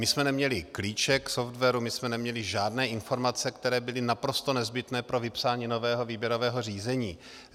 My jsme neměli klíček k softwaru, my jsme neměli žádné informace, které byly naprosto nezbytné pro vypsání nového výběrového řízení.